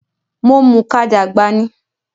Mo mùka dàgbà ni